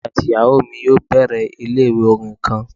Emi ati iyawo mi yoo bẹrẹ ile-iwe orin kan